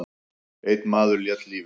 Einn maður lét lífið.